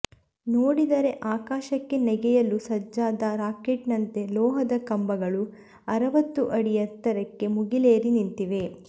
ನೋಡಿದರೆ ಆಕಾಶಕ್ಕೆ ನೆಗೆಯಲು ಸಜ್ಜಾದ ರಾಕೆಟ್ನಂತೆ ಲೋಹದ ಕಂಬಗಳು ಅರವತ್ತು ಅಡಿ ಎತ್ತರಕ್ಕೆ ಮುಗಿಲೇರಿ ನಿಂತಿವೆ